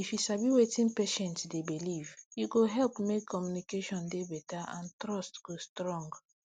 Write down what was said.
if you sabi wetin patient dey believe e go help make communication dey better and trust go strong